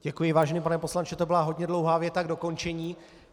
Děkuji, vážený pane poslanče, to byla hodně dlouhá věta k dokončení.